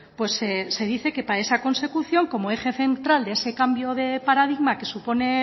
pues se dice que para esa consecución como eje central de ese cambio de paradigma que supone